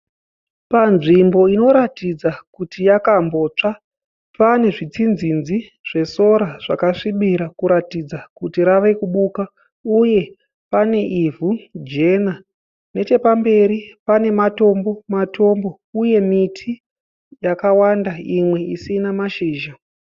Panzvimbo inoratidza kuti yakambotsva pane zvitsinzinzi zvesora zvakasvibira kuratidza kuti rave kubuka uye pane ivhu jena. Nechepamberi pane matombo matombo uye miti yakawanda imwe isina mashizha.